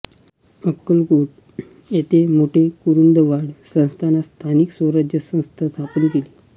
अक्कलकोट येथे मोठे कुरुंदवाड संस्थानात स्थानिक स्वराज्य संस्था स्थापना केली